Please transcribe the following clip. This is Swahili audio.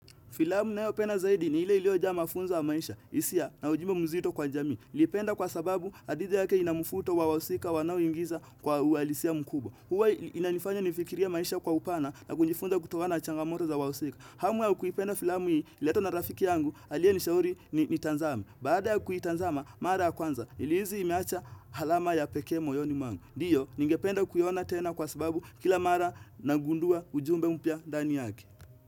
Filamu nayopenda zaidi ni ile iliojaa mafunzo ya maisha, hisia na ujumbe mzito kwa jamii. Naipenda kwa sababu hadithi yake ina mufuto wa wahusika wanaoingiza kwa uhalisia mkubwa Huwa inanifanya nifikirie maisha kwa upana na kujifunza kutokana na changamoto za wahusika. Hamu ya kuipenda filamu hii, ililetwa na rafiki yangu, aliye nishauri niitanzame. Baada ya kuitanzama, mara ya kwanza, nilihisi imeacha alama ya pekee moyoni mwangu. Ndiyo, ningependa kuiona tena kwa sababu kila mara nagundua ujumbe mpya ndani yake.